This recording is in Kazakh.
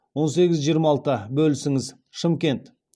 он сегіз жиырма алты бөлісіңіз шымкент